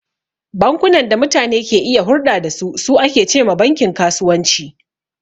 Bankunan da mutane ke iya hurɗa da su, su ake ce ma bankin kasuwanci..